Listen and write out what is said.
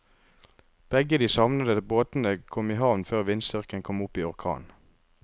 Begge de savnede båtene kom i havn før vindstyrken kom opp i orkan.